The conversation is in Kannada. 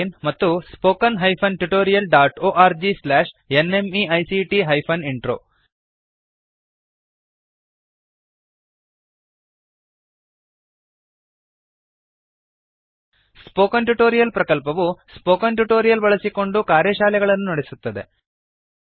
oscariitbacಇನ್ ಮತ್ತು spoken tutorialorgnmeict intro spoken tutorial ಪ್ರಕಲ್ಪವು ಸ್ಪೋಕನ್ ಟ್ಯುಟೋರಿಯಲ್ಸ್ ಬಳಸಿಕೊಂಡು ಕಾರ್ಯಶಾಲೆಗಳನ್ನು ನಡೆಸುತ್ತದೆ